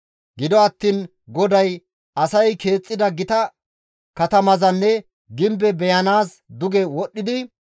Gido attiin GODAY asay keexxida gita katamazanne gimbeza beyanaas duge wodhdhidi,